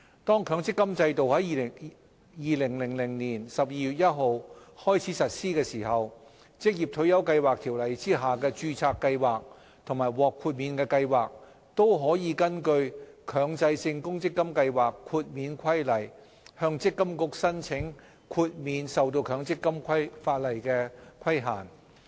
當強制性公積金制度在2000年12月1日開始實施時，《條例》下的註冊計劃及獲豁免計劃可根據《強制性公積金計劃規例》，向積金局申請豁免受強積金法例的規限。